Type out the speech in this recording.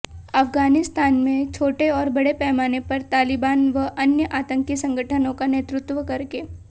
अफगानिस्तान में छोटे और बड़े पैमाने पर तालिबान व अन्य आंतकी संगठनों का नेतृत्व करके